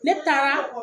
Ne taara